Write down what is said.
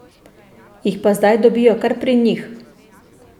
Jih pa zdaj dobijo kar pri njih.